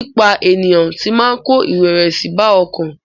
Pípa ènìyàn tì máa ń kó ìrẹ̀wẹ̀sì bá ọkàn.